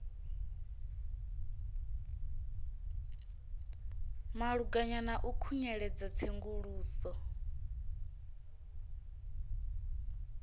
malugana na u khunyeledza tsenguluso